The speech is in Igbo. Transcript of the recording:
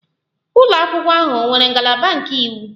Ụlọ akwụkwọ ahụ ọ nwere ngalaba nke iwu?